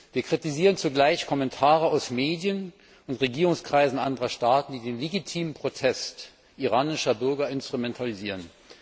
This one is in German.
Wir kritisieren zugleich Kommentare aus Medien und Regierungskreisen anderer Staaten, die den legitimen Protest iranischer Bürger instrumentalisieren.